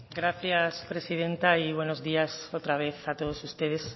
gracias presidenta y buenos días otra vez a todos ustedes